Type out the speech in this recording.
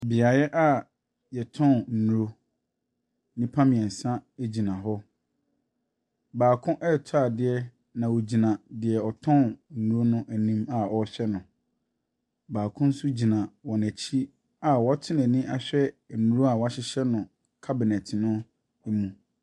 Beaeɛ yɛtɔn nnuro. nnipa mmiɛnsa egyina hɔ. Baako ɛretɔ adeɛ na ɔgyina deɛ ɔtɔn nnuro n'anim a ɔrehwɛ no. baako nso gyina wɔnɛkyi a wɔato n'ani ahwɛ nnuro a wahyehyɛ no cabinet no emu.